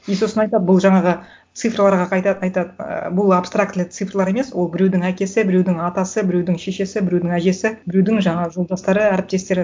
и сосын айтады бұл жаңағы цифрларға қайта айтады ы бұл абстрактілі цифрлар емес ол біреудің әкесі біреудің атасы біреудің шешесі біреудің әжесі біреудің жаңағы жолдастары әріптестері